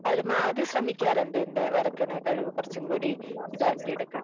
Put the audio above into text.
പരമാവധി ശ്രമിക്കാറുണ്ട് എന്റെ വരയ്ക്കുന്ന കഴിവ് കുറച്ചുകൂടി ഇതാക്കിയെടുക്കാൻ